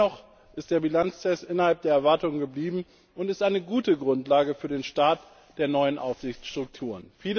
Dennoch ist der Bilanztest innerhalb der Erwartungen geblieben und ist eine gute Grundlage für den Start der neuen Aufsichtsstrukturen.